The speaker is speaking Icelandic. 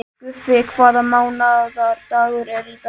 Guffi, hvaða mánaðardagur er í dag?